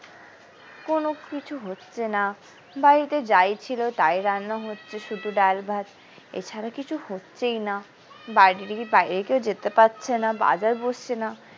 কোনো কিছু হচ্ছে না বাড়িতে যাই ছিল তাই রান্না হচ্ছে শুধু ডাল ভাত এছাড়া কিছু হচ্ছেই না বাইরে দিকে বাইরে কেউ যেতে পারছে না বাজার বসছে না।